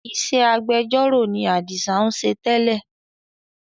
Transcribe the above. Ìṣe agbẹjọ́ró ni adisa ń ṣe tẹ́lẹ̀